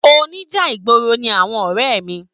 Oníjà ìgboro ní àwọn ọrẹ mí.